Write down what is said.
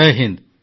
Jay Hind